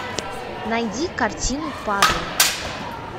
найди картину пазл